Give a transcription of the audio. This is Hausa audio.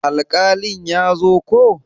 Alkalin ya zo ko?